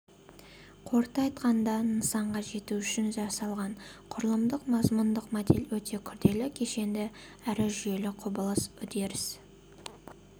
қорыта айтқанда нысанға жету үшін жасалған құрылымдық-мазмұндық модель өте күрделі кешенді әрі жүйелі құбылыс үдеріс